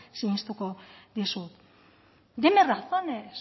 sinistuko dizut deme razones